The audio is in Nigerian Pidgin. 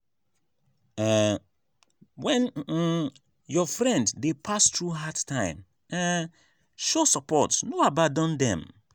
um when um your friend dey pass through hard time um show support no abandon dem.